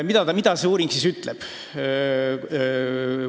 Mida selle tulemused siis ütlevad?